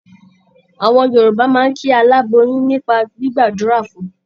Àwọn Yorùbá máa ń kí aláboyún nípa gbígbàdúrà fun.